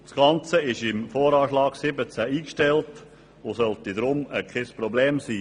Das Ganze ist im Voranschlag 2017 eingestellt und sollte darum kein Problem sein.